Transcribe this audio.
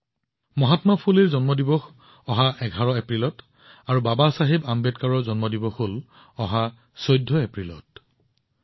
মহাত্মা ফুলেৰ জন্ম জয়ন্তী ১১ এপ্ৰিলত আৰু বাবা চাহেবৰ জন্ম জয়ন্তী ১৪ এপ্ৰিলত উদযাপন কৰা হয়